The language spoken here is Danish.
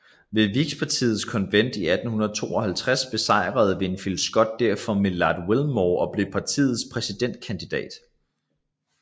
Ved Whigpartiets konvent i 1852 besejrede Winfield Scott derfor Millard Fillmore og blev partiets præsidentkandidat